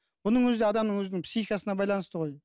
бұның өзі де адамның өзінің психикасына байланысты ғой